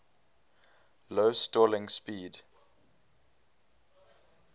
low stalling speed